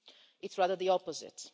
It's rather the opposite.